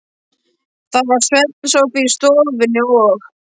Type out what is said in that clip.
Það var svefnsófi í stofunni og